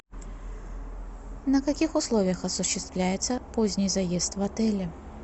на каких условиях осуществляется поздний заезд в отеле